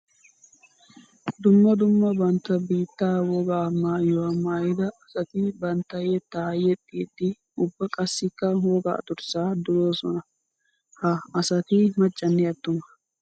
Dumma dumma bantta biitta wogaa maayuwa maayidda asatti bantta yetta yexxiddi ubba qassikka wogaa durssa durossonna. Ha asatti macanne atuma.